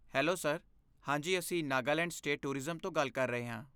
Hello sir! ਹਾਂ ਜੀ ਅਸੀਂ ਨਾਗਾਲੈਂਡ ਸਟੇਟ ਟੂਰਿਜ਼ਮ ਤੋਂ ਗੱਲ ਕਰ ਰਹੇ ਹਾਂ।